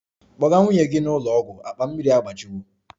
Kpọga nwunye gị n'ụlọ ọgwụ! Akpa mmiri ya agbajiwo